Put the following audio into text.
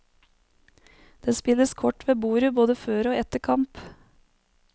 Det spilles kort ved bordet både før og etter kamp.